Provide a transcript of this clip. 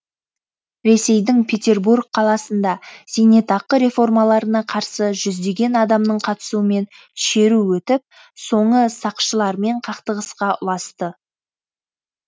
ресейдің петербург қаласында зейнетақы реформаларына қарсы жүздеген адамның қатысуымен шеру өтіп соңы сақшылармен қақтығысқа ұласты